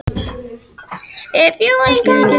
Þar er beygingin: Eimskip, Eimskip, Eimskip, Eimskips.